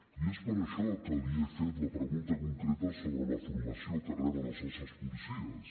i és per això que li he fet la pregunta concreta sobre la formació que reben els nostres policies